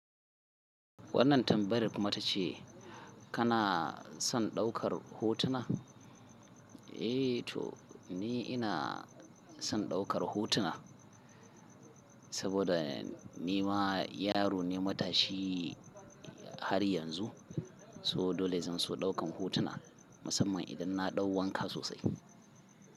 Wannan tambayar kuma ta ce kana son daukar hotuna? Eh to ni ina son daukar hotuna, saboda ni ma yaro ne matashi. Har yanzu, so dole zan so daukan hotuna Musamman idan na ɗau wanka sosai.